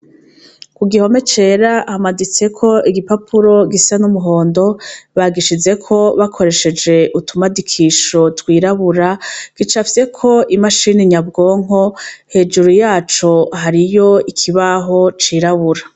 Ku gihome cera hamaditseko igipapuro gisa n'umuhondo bagishizeko bakoresheje utumadikisho twirabura gicafyeko imashini nyabwonko hejuru yaco hariho ikibaho cirabura.